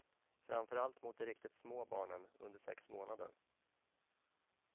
Framför allt mot de riktigt små barnen, under sex månader.